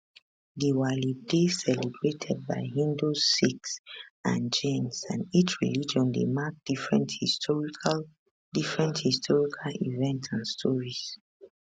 diwali dey celebrated by hindus sikhs and jains and each religion dey mark different historical different historical events and stories